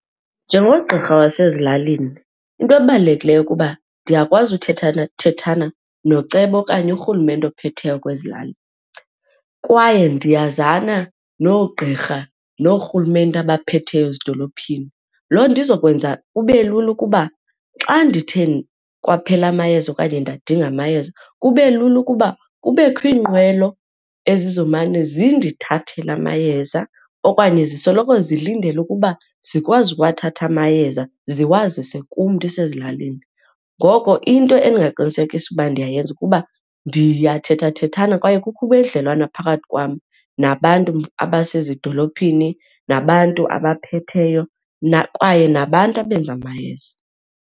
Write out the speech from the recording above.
Njengogqirha wasezilalini into ebalulekileyo kuba ndiyakwazi uthethanathethana noceba okanye urhulumente ophetheyo kwezi lali kwaye ndiyazana noogqirha noorhulumente abaphetheyo ezidolophini. Loo nto izokwenza kube lula ukuba xa ndithe kwaphela amayeza okanye ndadinga amayeza kube lula ukuba kubekho iinqwelo ezizomane zindithathela amayeza okanye zisoloko zilindele ukuba zikwazi uwathatha amayeza ziwazise kum ndisezilalini. Ngoko into endingaqinisekisa uba ndiyayenza kuba ndiyathethathethana kwaye kukho ubudlelwane phakathi kwam nabantu abasezidolophini nabantu abaphetheyo kwaye nabantu abenza amayeza.